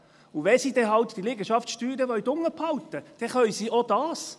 Und wenn sie dann halt diese Liegenschaftssteuern unten behalten wollen, dann können sie auch dies.